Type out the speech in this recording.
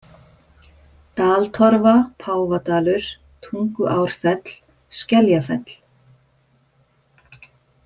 Daltorfa, Páfadalur, Tunguárfell, Skeljafell